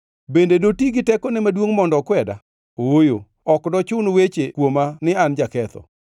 Bende doti gi tekone maduongʼ mondo okweda? Ooyo, ok dochun weche kuoma ni an jaketho.